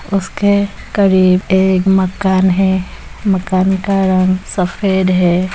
उसके करीब एक मकान है मकान का रंग सफेद है।